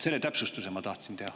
Selle täpsustuse ma tahtsin teha.